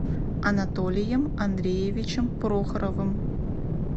анатолием андреевичем прохоровым